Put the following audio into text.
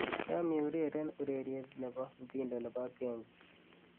yom eureren ureryet nebo mtindo nebo genge